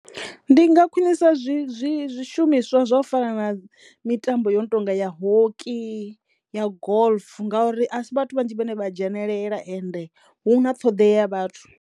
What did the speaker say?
Ndi nga khwinisa zwi zwi zwishumiswa zwa u fana na mitambo yo no tonga ya hockey, ya golf ngauri a si vhathu vhanzhi vhane vha dzhenelela ende hu na ṱhoḓeya ya vhathu.